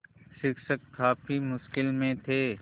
शिक्षक काफ़ी मुश्किल में थे